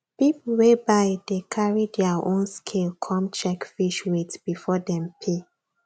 people wey buy dey carry their own scale come check fish weight before dem pay